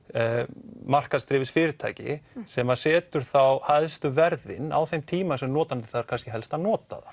markaðsdrifið fyrirtæki sem setur þá hæstu verðin á þeim tíma sem notandi þarf kannski helst að nota